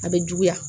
A bɛ juguya